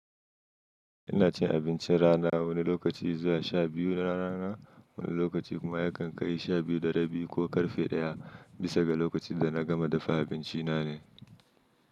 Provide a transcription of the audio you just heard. Ina cin abincin rana wani lokaci zuwa sha biyu na rana, wani lokaci kuma yakan kai sha biyu da rabi ko ƙarfe ɗaya, bisa ga lokacin da na gama dafa abinci na ne.